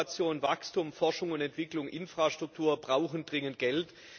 Innovation, Wachstum, Forschung und Entwicklung, Infrastruktur brauchen dringend Geld.